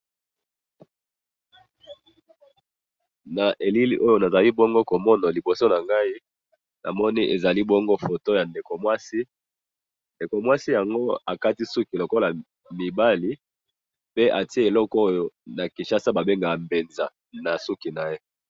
Na elili oyo nazali bongo komona liboso nangayi, namoni ezali bongo foto ya ndako mwasi, ndeko mwasi yango akati suki lokola mibali, pe atye eloko oyo na kishasa babengaka benza nasuki naye.